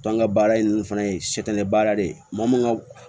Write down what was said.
an ka baara in fana ye baara de ye maa mun ka